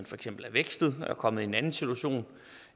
for eksempel er vækstet er kommet i en anden situation